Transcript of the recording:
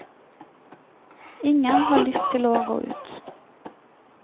Ingen har lyst til å gå ut.